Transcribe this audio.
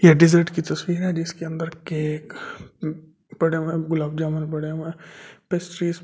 ये डेजर्ट की तस्वीर है जिसके अंदर केक गुलाब जामुन पड़े हुए है पेस्ट्रीज़ --